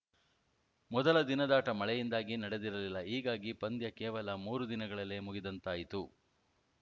ಮೊದಲ ದಿನದಾಟ ಮಳೆಯಿಂದಾಗಿ ನಡೆದಿರಲಿಲ್ಲ ಹೀಗಾಗಿ ಪಂದ್ಯ ಕೇವಲ ಮೂರು ದಿನಗಳಲ್ಲೇ ಮುಗಿದಂತಾಯಿತು